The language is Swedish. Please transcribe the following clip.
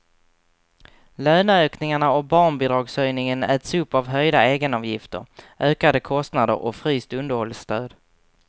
Löneökningarna och barnbidragshöjningen äts upp av höjda egenavgifter, ökade kostnader och fryst underhållsstöd.